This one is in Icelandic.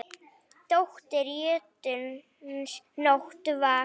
Dóttir jötuns Nótt var.